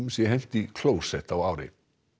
sé hent í klósett á ári